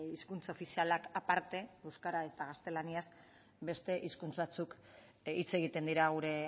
hizkuntza ofizialak aparte euskara eta gaztelaniaz beste hizkuntz batzuk hitz egiten dira gure